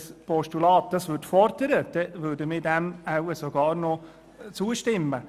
Wenn dieses Postulat das fordern würde, könnten wir dem wohl zustimmen.